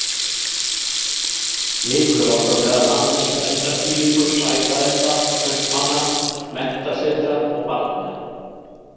Nikulás var meðal annars verndardýrlingur sæfarenda, kaupmanna, menntasetra og barna.